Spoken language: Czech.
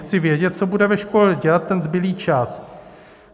Chci vědět, co bude ve škole dělat ten zbylý čas.